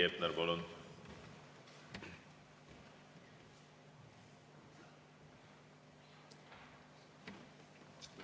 Heiki Hepner, palun!